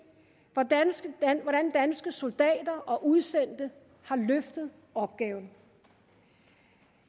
hvordan danske soldater og udsendte har løftet opgaven